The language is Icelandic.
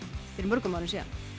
fyrir mörgum árum